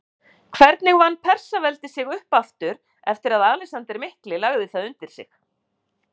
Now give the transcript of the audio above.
Hvernig vann Persaveldi sig upp aftur eftir að Alexander mikli lagði það undir sig?